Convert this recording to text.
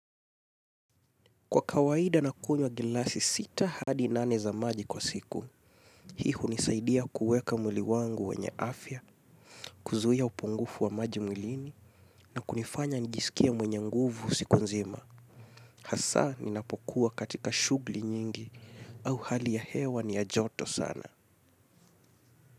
Kwa kawaida nakunywa gilasi sita hadi nane za maji kwa siku, hii hunisaidia kuweka mwili wangu wenye afya, kuzuia upungufu wa maji mwilini na kunifanya njisikie mwenye nguvu siku nzima. Hasa ninapokuwa katika shughli nyingi au hali ya hewa ni ya joto sana.